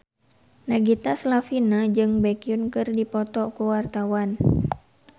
Nagita Slavina jeung Baekhyun keur dipoto ku wartawan